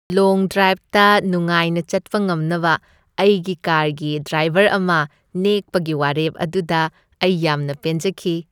ꯂꯣꯡ ꯗ꯭ꯔꯥꯏꯕꯇ ꯅꯨꯡꯉꯥꯏꯅ ꯆꯠꯄ ꯉꯝꯅꯕ ꯑꯩꯒꯤ ꯀꯥꯔꯒꯤ ꯗ꯭ꯔꯥꯏꯕꯔ ꯑꯃ ꯅꯦꯛꯄꯒꯤ ꯋꯥꯔꯦꯞ ꯑꯗꯨꯗ ꯑꯩ ꯌꯥꯝꯅ ꯄꯦꯟꯖꯈꯤ ꯫